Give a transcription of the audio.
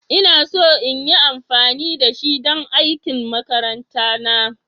Ina so in yi amfani da shi don aikin makaranta na.